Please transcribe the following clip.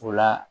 O la